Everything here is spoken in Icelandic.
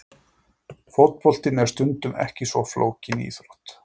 Fótboltinn er stundum ekki svo flókin íþrótt!!!